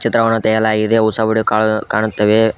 ಚಿತ್ರವನ್ನು ತೆಗೆಯಲಾಗಿದೆ ಹೊಸ ವಿಡಿಯೋ ಕಾಣು ಕಾಣುತ್ತವೆ.